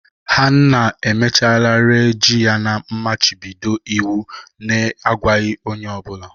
ha nna emechaala ree yam na mmachibido iwu na-agwaghị onye ọ bụla